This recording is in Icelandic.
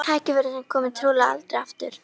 Tækifæri sem komi trúlega aldrei aftur.